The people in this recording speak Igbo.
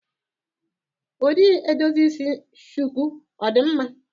Ụdị edozi isi shuku ọ dị mma?